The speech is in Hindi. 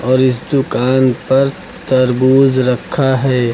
और इस दुकान पर तरबूज रखा है।